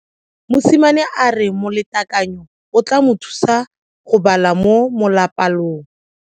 Mosimane a re molatekanyo o tla mo thusa go bala mo molapalong.